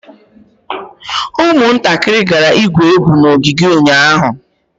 ụmụntakịrị gara igwu egwu n'ogige ụnyahụ